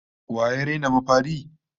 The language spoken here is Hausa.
Wa ya raina mafari?